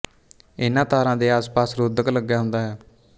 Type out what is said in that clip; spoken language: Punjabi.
ਇਹਨਾ ਤਾਰਾਂ ਦੇ ਆਸਪਾਸ ਰੋਧਕ ਲਗਿਆ ਹੁੰਦਾ ਹੈ